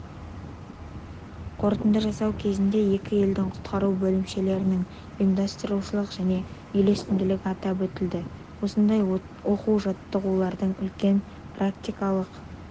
қорытынды жасау кезінде екі елдің құтқару бөлімшелерінің ұйымдастырушылық және үйлесімділігі атап өтілді осындай оқу-жаттығулардың үлкен практикалық